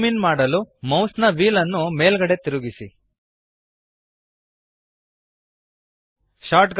zoom in ಮಾಡಲು ಮೌಸ್ನ ವ್ಹೀಲ್ಅನ್ನು ಮೇಲ್ಗಡೆಗೆ ತಿರುಗಿಸಿರಿ